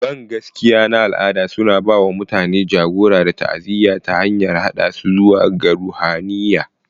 Bangaskiya na al'ada suna ba wa mutane jagora da ta'aziyya ta hanyar haɗa su zuwa ga ruhaniya.